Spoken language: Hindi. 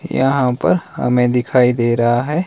यहां पर हमें दिखाई दे रहा है।